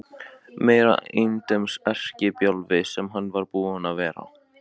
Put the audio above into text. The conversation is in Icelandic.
Meiri endemis erkibjálfinn sem hann var búinn að vera!